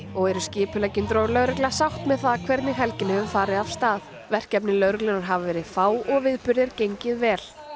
og eru skipuleggjendur og lögregla sátt með hvernig helgin hefur farið af stað verkefni lögreglunnar hafa verið fá og viðburðir gengið vel